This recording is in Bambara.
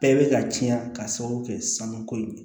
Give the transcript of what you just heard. Bɛɛ bɛ ka ciɲɛn ka sababu kɛ sanuko in